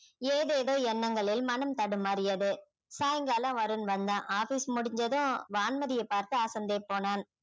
ஏதேதோ எண்ணங்களில் மனம் தடுமாறியது சாயங்காலம் வருண் வந்தான் office முடிஞ்சதும் வான்மதியை பார்த்து அசந்தே போனான்